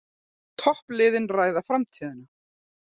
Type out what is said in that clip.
Toppliðin ræða framtíðina